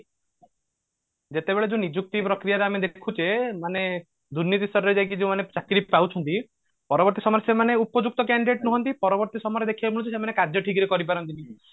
ଯେତେବେଳେ ଯୋଉ ନିଯୁକ୍ତି ପ୍ରକ୍ରିୟା ଆମେ ଦେଖୁଛେ ମାନେ ଦୁର୍ନୀତି ସ୍ତରରେ ଯାଇକି ଯୋଉ ଆମେ ଚାକିରି ପାଉଛନ୍ତି ପରବର୍ତୀ ସମୟରେ ସେମାନେ ଉପଯୁକ୍ତ candidate ନୁହନ୍ତି ପରବର୍ତୀ ସମୟରେ ଦେଖିବାକୁ ମିଳୁଛି ସେମାନେ କାର୍ଯ୍ୟ ଠିକ ରେ କରି ପାରନ୍ତି ନି